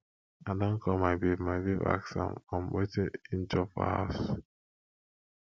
i don call my babe my babe ask am um wetin im chop for house